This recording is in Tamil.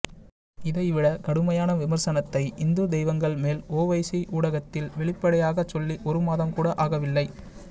இதைவிட கடுமையான விமர்சனத்தை இந்து தெய்வங்கள் மேல் ஒவைசி ஊடகத்தில் வெளிப்படையாகச் சொல்லி ஒருமாதம்கூட ஆகவில்லை